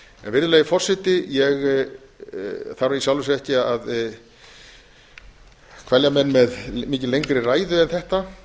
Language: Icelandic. virðulegi forseti ég þarf í sjálfu sér ekki að kvelja menn með mikið lengri ræðu en þetta þetta